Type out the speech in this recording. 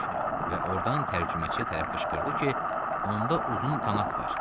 Və ordan tərcüməçiyə tərəf qışqırdı ki, onda uzun qanad var.